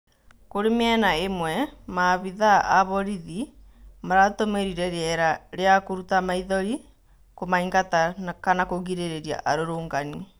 Kũrĩ mĩena ĩmwe maabĩthaa a borithi maratũmĩrire rĩera rĩa kũrũta maĩthori kumaingata kana kũgirĩrĩria arũrũngani